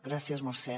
gràcies mercè